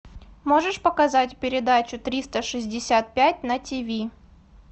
можешь показать передачу триста шестьдесят пять на тиви